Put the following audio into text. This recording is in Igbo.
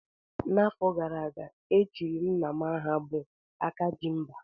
N'afọ gara aga, e chiri Nna m aha bụ "Akajimba"